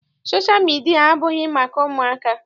Sosha midia abụghị maka ụmụaka.